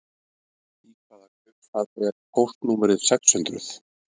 Í hvaða kaupstað er póstnúmerið sex hundruð?